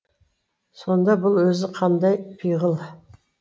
сонда бұл өзі қандай пиғыл